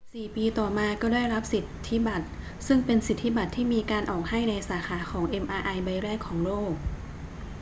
สี่ปีต่อมาก็ได้รับสิทธิบัตร ซึ่งเป็นสิทธิบัตรที่มีการออกให้ในสาขาของ mri ใบแรกของโลก